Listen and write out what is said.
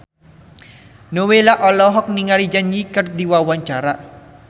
Nowela olohok ningali Zang Zi Yi keur diwawancara